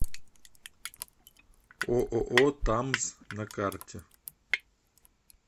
ооо тамз на карте